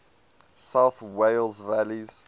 south wales valleys